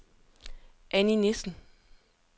Anni Nissen